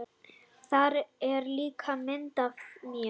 Þar er líka mynd af mér.